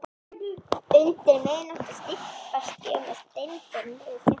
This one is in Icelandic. Undir miðnóttina stimpast ég með Steindóri niður stéttina.